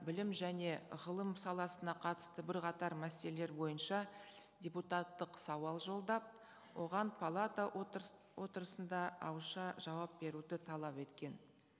білім және ғылым саласына қатысты бірқатар мәселелер бойынша депутаттық сауал жолдап оған палата отырысында ауызша жауап беруді талап еткен